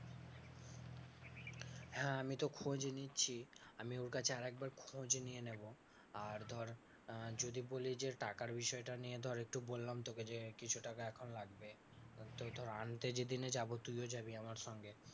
হ্যাঁ আমিতো খোঁজ নিচ্ছি, আমি ওর কাছে আর একবার খোঁজ নিয়ে নেব, আর ধর আহ যদি বলি যে টাকার বিষয়টা নিয়ে ধর একটু বললাম তোকে যে কিছু টাকা এখন লাগবে। তো তোর আনতে যেদিনে যাবো তুইও যাবি আমার সঙ্গে,